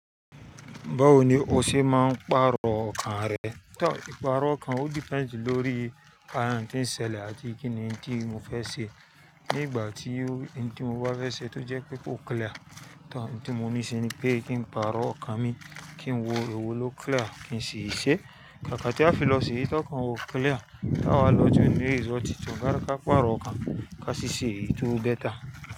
Báwo ni o ṣe máa ń pàrọ̀ ọkàn rẹ? Tọ, ìpààrọ̀ ọkàn ó depends lórí àyà tí ń ṣẹlẹ̀ àti kí ni in tí mo fẹ́ ṣe. Ní ìgbà tí in tí mo bá fẹ́ ṣé tó jẹ́ pé kó clear, tọ̀ n tí mo ní ṣe ni pé kí n pàrọ̀ ọkàn mi kí n wo ewo ló clear kí n ṣi ṣẹ́. Kaka tí a fi lọ ṣe eyi tọ́kan wa ó clear. Láwa lọ́jọ́ inú ìsọ̀títọ́ gárí ká pàrọ̀ ọkàn ká sì ṣe èyí tó better.